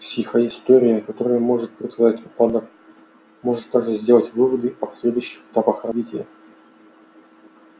психоистория которая может предсказать упадок может также сделать выводы о последующих этапах развития